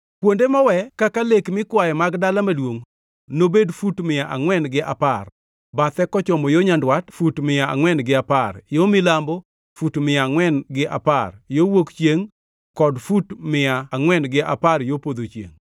Kuonde mowe kaka lek mikwaye mag dala maduongʼ nobed fut mia angʼwen gi apar, bathe mochomo yo nyandwat, fut mia angʼwen gi apar, yo milambo, fut mia angʼwen gi apar, yo wuok chiengʼ kod fut mia angʼwen gi apar yo podho chiengʼ.